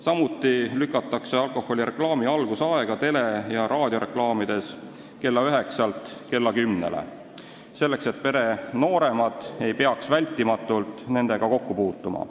Samuti lükatakse alkoholireklaami algusaeg tele- ja raadiokanalites kella üheksalt kella kümnele, selleks et pere nooremad ei peaks sellega vältimatult kokku puutuma.